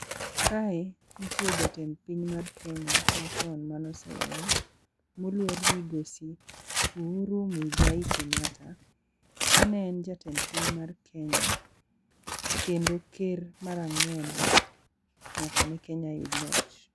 Kae nitie jatend piny mar Kenya machon mane oseweyo, moluor Migosi Uhuru Muigai Kenyatta. Ka ne en jatend piny mar Kenya, kendo ker mar ang'wen nyaka ne Kenya yud loch.